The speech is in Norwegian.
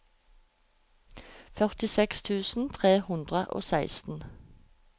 førtiseks tusen tre hundre og seksten